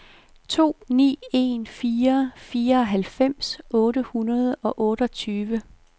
to ni en fire fireoghalvfems otte hundrede og otteogtyve